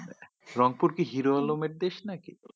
রংপুর কি হিরো আলমের দেশ নাকি?